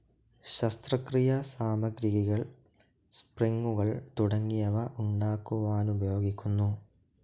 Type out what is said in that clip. ശസ്ത്രക്രിയാ സാമഗ്രികൾ, സ്പ്രിംഗുകൾ തുടങ്ങിയവ ഉണ്ടാക്കുവാനുപയോഗിക്കുന്നു.